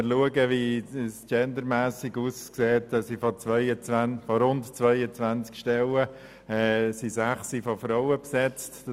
Gendermässig betrachtet sind von rund 22 Stellen sechs von Frauen besetzt.